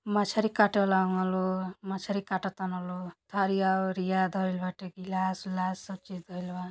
मछरी काटेवाला हवन लोग। मछरी कतातन लोग। थरिया ओरिया धइल बाटे। गिलास उलास सब चीज धईल बा।